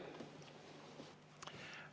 Aitäh!